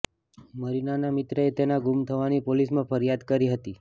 મારિનાના મિત્રએ તેના ગુમ થવાની પોલીસમાં ફરિયાદ કરી હતી